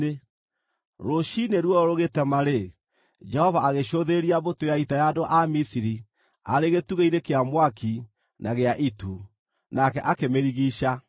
Rũciinĩ ruoro rũgĩtema-rĩ, Jehova agĩcũthĩrĩria mbũtũ ya ita ya andũ a Misiri arĩ gĩtugĩ-inĩ kĩa mwaki na gĩa itu, nake akĩmĩrigiica.